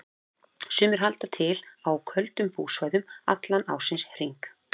Sumir halda til á köldum búsvæðum allan ársins hring.